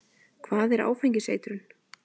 Hvað er áfengiseitrun?